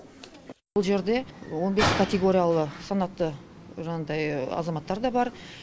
бұл жерде он бес категориялы санатты жаңағындай азаматтар да бар